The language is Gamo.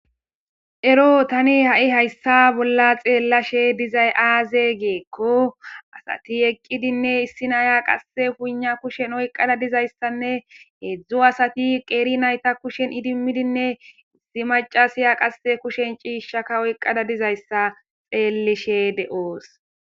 Ero tani ha7i hayssa bolla xeellashe dizay aaze geekko asati eqqidinne issinaya qasse huuna kushen oyqqada dizayssanne heedzdzu asati qeeri nayta kushen idimmidinne issi macasiya qasse kushen ciishshaka oyqqada dizayssa xeellishe de7oos.